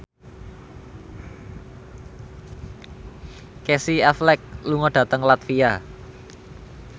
Casey Affleck lunga dhateng latvia